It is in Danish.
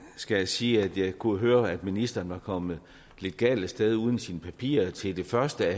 skal jeg sige at jeg kunne høre at ministeren var kommet lidt galt af sted uden sine papirer til det første